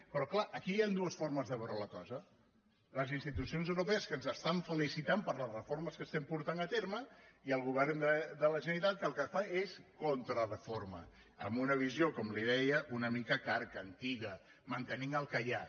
però clar aquí hi han dues formes de veure la cosa les institucions europees que ens estan felicitant per les reformes que estem portant a terme i el govern de la generalitat que el que fa és contrareforma amb una visió com li deia una mica carca antiga mantenint el que hi ha